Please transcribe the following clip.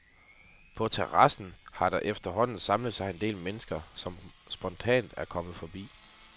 På terrassen har der efterhånden samlet sig en del mennesker, som spontant er kommet forbi.